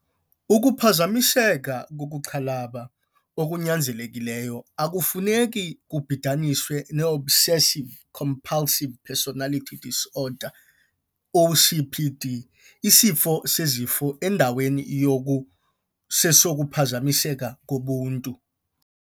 Ukuphazamiseka kokuxhalaba okunyanzelekileyo akufuneki kubhidaniswe ne -obsessive-compulsive personality disorder, OCPD, isifo sezifo endaweni yoko sesokuphazamiseka kobuntu.